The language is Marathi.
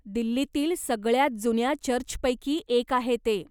दिल्लीतील सगळ्यात जुन्या चर्चपैकी एक आहे ते.